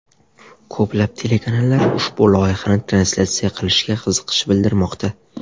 Ko‘plab telekanallar ushbu loyihani translyatsiya qilishga qiziqish bildirmoqda.